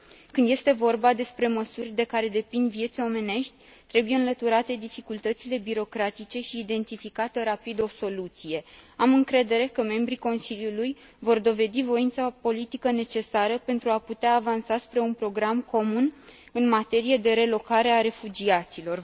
Când este vorba despre măsuri de care depind vieți omenești, trebuie înlăturate dificultățile birocratice și identificată rapid o soluție. Am încredere că membrii Consiliului vor dovedi voința politică necesară pentru a putea avansa spre un program comun în materie de relocare a refugiaților.